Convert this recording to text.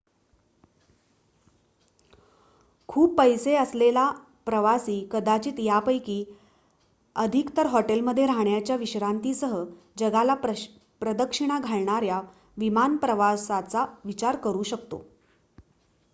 खूप पैसे असलेला प्रवासी कदाचित यापैकी अधिकतर हॉटेलमध्ये राहण्याच्या विश्रांतीसह जगाला प्रदक्षिणा घालणाऱ्या विमान प्रवासाचा विचार करू शकतो